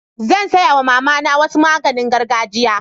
Zan saya wa mama na wasu maganin gargajia.